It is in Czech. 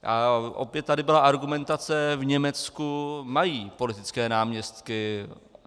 A opět tady byla argumentace - v Německu mají politické náměstky.